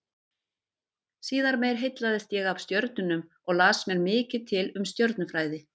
Síðar meir heillaðist ég af stjörnunum og las mér mikið til um stjörnufræði.